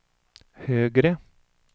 högre